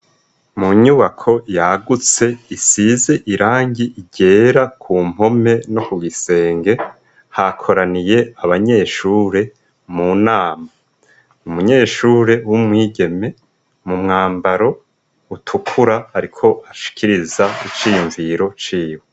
Mu nyubako yagutse isize irangi ryera ku mpome no kugisenge, hakoraniye abanyeshure mu nama. Umunyeshure w'umwigeme mu mwambaro utukura ariko ashikiriza iciyumviro ciwe.